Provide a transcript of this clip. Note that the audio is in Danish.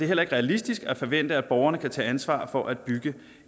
heller ikke realistisk at forvente at borgerne alene kan tage ansvar for at bygge